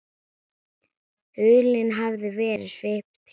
Hulunni hafði verið svipt frá.